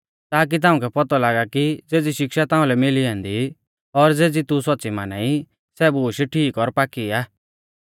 ताकी ताउंकै पौतौ लागा की ज़ेज़ी शिक्षा ताउंलै मिली ऐन्दी और ज़ेज़ी तू सौच़्च़ी माना ई सै बूश ठीक और पाकी आ